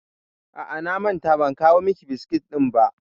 A'a, na manta ban kawo miki biskit ɗin ba.